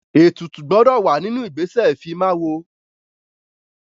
Ètùtù gbọdọ̀ wà nínú ìgbésẹ̀ ìfimáwo.